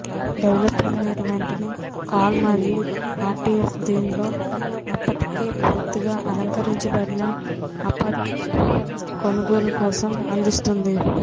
developer మీరు వెంటనే call మరియు ఆర్టీఎఫ్ దీనిలో అప్పటికే పూర్తిగా అలంకరించబడిన అపార్ట్ కొనుగోలు కోసం అందిస్తుంది